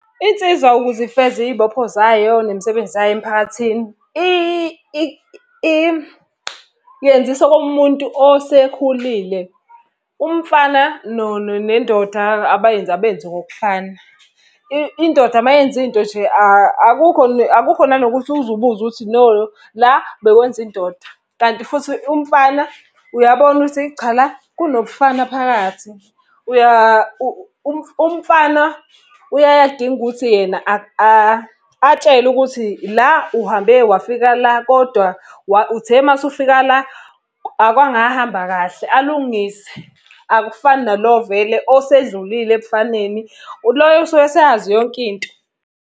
Insizwa ukuze ifeze iy'bopho zayo nemisebenzi yayo emphakathini, yenzisa okomuntu osekhulile. Umfana nendoda abenzi ngokufana. Indoda uma yenza into nje akukho akukho nanokuthi uze ubuze ukuthi no la bekwenza indoda. Kanti futhi umfana uyabona ukuthi cha la kunobufana phakathi. Umfana uyaye adinge ukuthi yena atshelwe ukuthi la uhambe wafika la, kodwa uthe uma usufika la, akwangahamba alungise. Akufani nalo vele osedlulile ebufaneni. Loyo usuke eseyazi yonke into.